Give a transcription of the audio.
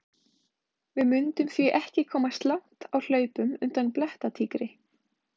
Við mundum því ekki komast langt á hlaupum undan blettatígri!